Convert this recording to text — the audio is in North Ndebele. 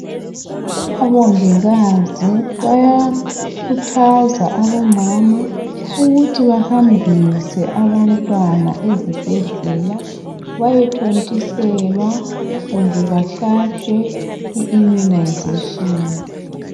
Omongikazi bayakhuthaza abomama ukuthi bahambise abantwana ezibhedlela bayethontiselwa kumbe behlatshwe i"immunization".